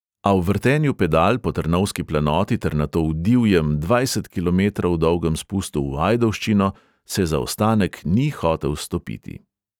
A v vrtenju pedal po trnovski planoti ter nato v divjem dvajset kilometrov dolgem spustu v ajdovščino se zaostanek ni hotel stopiti.